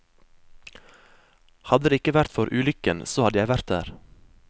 Hadde det ikke vært for ulykken, så hadde jeg vært der.